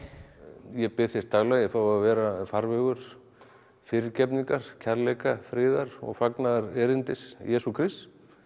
ég bið þess daglega að ég fái að vera farvegur fyrirgefningar kærleika friðar og fagnaðarerindis Jesú Krists